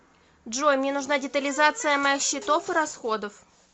джой мне нужна детализация моих счетов и расходов